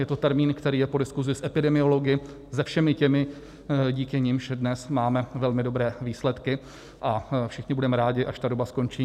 Je to termín, který je po diskusi s epidemiology, se všemi těmi, díky nimž dnes máme velmi dobré výsledky, a všichni budeme rádi, až ta doba skončí.